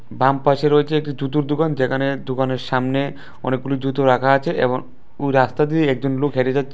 বামপাশে রয়েছে একটি জুতুর দোকান যেখানে দোকানের সামনে অনেকগুলো জুতো রাখা আছে এবং ওই রাস্তা দিয়ে একজন লোক হেঁটে যাচ্ছে।